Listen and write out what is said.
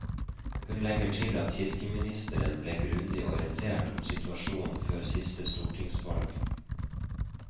Hun legger til at kirkeministeren ble grundig orientert om situasjonen før siste stortingsvalg.